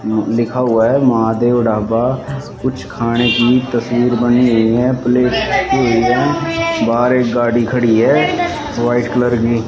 लिखा हुआ है महादेव ढाबा कुछ खाने की तस्वीर बनी हुई है प्लेट बनी हुई है बाहर एक गाड़ी खड़ी है वाइट कलर की।